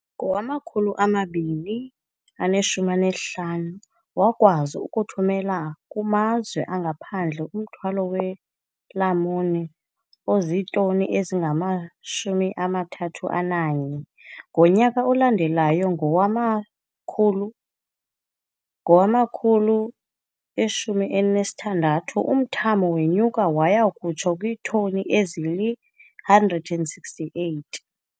Ngowama-2015, wakwazi ukuthumela kumazwe angaphandle umthwalo weelamuni ozitoni ezingama-31. Ngonyaka olandelayo, ngowama-2016, umthamo wenyuka waya kutsho kwiitoni ezili-168.